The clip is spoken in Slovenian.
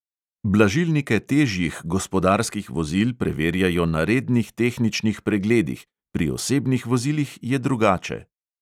Blažilnike težjih gospodarskih vozil preverjajo na rednih tehničnih pregledih, pri osebnih vozilih je drugače.